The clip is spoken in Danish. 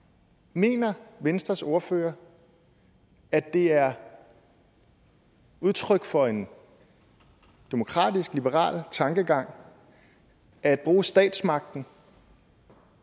mener venstres ordfører at det er udtryk for en demokratisk liberal tankegang at bruge statsmagten